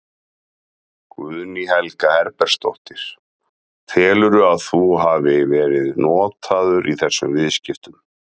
Guðný Helga Herbertsdóttir: Telurðu að þú hafi verið notaður í þessum viðskiptum?